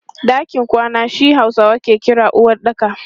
Ɗakin kwana shi Hausawa ke kira uwaɗɗaka.